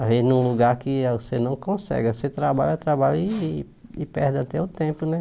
Às vezes num lugar que a você não consegue, aí você trabalha, trabalha e e perde até o tempo, né?